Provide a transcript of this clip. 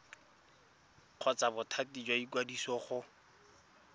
kgotsa bothati jwa ikwadiso go